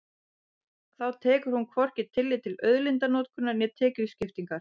Þá tekur hún hvorki tillit til auðlindanotkunar né tekjuskiptingar.